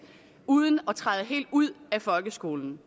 uden at træde helt ud af folkeskolen